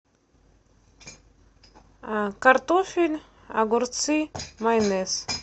картофель огурцы майонез